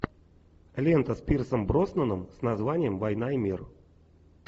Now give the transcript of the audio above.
лента с пирсом броснаном с названием война и мир